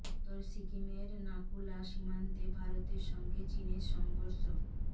উত্তর সিকিমের নাকু লা সীমান্তে ভারতের সঙ্গে চিনের সংঘর্ষ